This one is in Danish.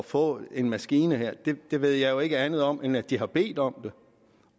få en maskine ved jeg jo ikke andet om end at de har bedt om det